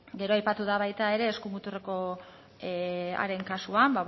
gero aipatu da baita ere eskumuturrekoaren kasuan